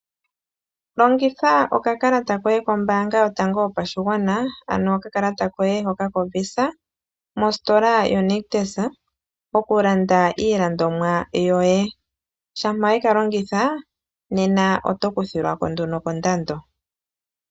Longitha oka kalata koye kombaanga yotango yo pashigwana, ano oka kalata koye hoka koVisa mositola yo Nictus oku landa iilandomwa yoye. Shampa weka longitha nena oto kuthilwako nduno kondando.